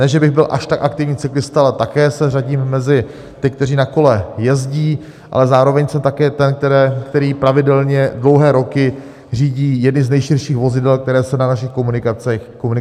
Ne že bych byl až tak aktivní cyklista, ale také se řadím mezi ty, kteří na kole jezdí, ale zároveň jsem také ten, který pravidelně dlouhé roky řídí jedno z nejširších vozidel, které se na našich komunikacích vyskytují.